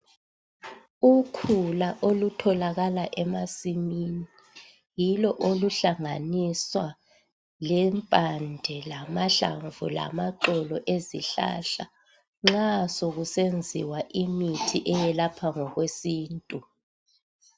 Ikhula olutholakala emasimini yilo oluhlanganiswa lempande lamahlamvu lamaxolo ezihlahla nxa sekusenziwa imithi eyelapha ngokwesintu